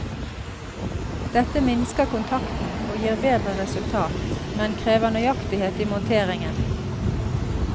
Dette minsker kontakten og gir bedre resultat, men krever nøyaktighet i monteringen.